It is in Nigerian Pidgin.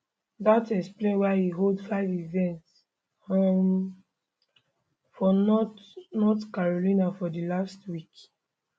dat explain why e hold five events um for north north carolina for di last week